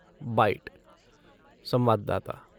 bite संवाददाता